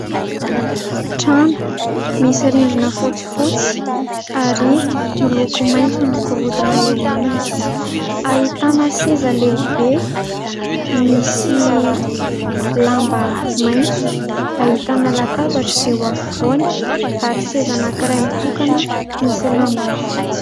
Trano misy rindrina fotsifotsy ary miloko maitso ny gorodona eo aminy. Ahitana seza lehibe misy lamba maitso, ahitana latabatra eo afovoany, ary seza anankiray mitokana misy lambany fotsy.